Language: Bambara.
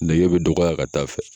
Nege be dɔgɔya ka taa fɛ